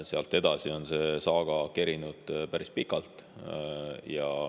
Sealt edasi on see saaga kerinud päris pikalt.